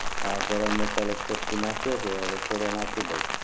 હા ગરમ મસાલો એક ચમચી નાખ્યો છે હુ થોડો નાખી દવ